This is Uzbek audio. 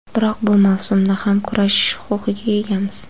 Biroq bu mavsumda ham kurashish huquqiga egamiz.